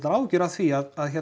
áhyggjur af því að